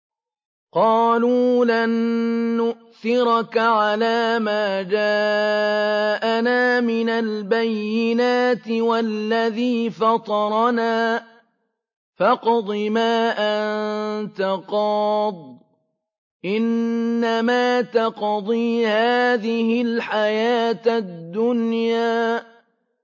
قَالُوا لَن نُّؤْثِرَكَ عَلَىٰ مَا جَاءَنَا مِنَ الْبَيِّنَاتِ وَالَّذِي فَطَرَنَا ۖ فَاقْضِ مَا أَنتَ قَاضٍ ۖ إِنَّمَا تَقْضِي هَٰذِهِ الْحَيَاةَ الدُّنْيَا